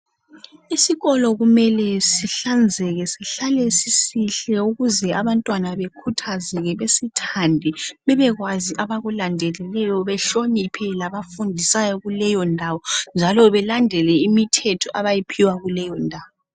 Isikolo kumele sihlanzeke sihlale. sisihle ukuze abantwana bekhuthazeke besithande bebe kwazi abakulandelileyo behloniphe labafundisayo kuleyondawo njalo belandele imithetho abayiphiwa kuleyondawo .